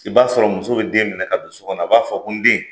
I b'a sɔrɔ muso be den minɛ ka don so kɔnɔ. A b'a fɔ ko n den